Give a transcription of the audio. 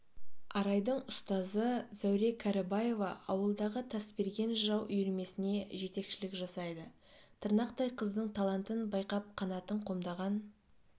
арайдың ұстазы зәуре кәрібаева ауылдағы тасберген жырау үйірмесіне жетекшілік жасайды тырнақтай қыздың талантын байқап қанатын қомдаған